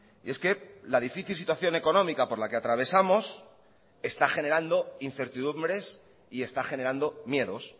y es que la difícil situación económica por la que atravesamos está generando incertidumbres y está generando miedos